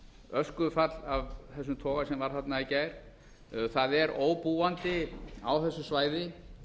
öskufall af þessum toga sem var þarna í gær það er óbúandi á þessu svæði